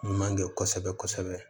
Ɲuman kɛ kosɛbɛ kosɛbɛ